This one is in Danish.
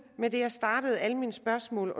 med det jeg startede mine spørgsmål